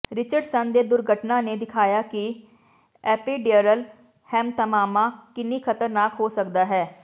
Richardson ਦੇ ਦੁਰਘਟਨਾ ਨੇ ਦਿਖਾਇਆ ਕਿ ਐਪੀਿਡਯਰਲ ਹੈਮਤਮਾਮਾ ਕਿੰਨੀ ਖਤਰਨਾਕ ਹੋ ਸਕਦਾ ਹੈ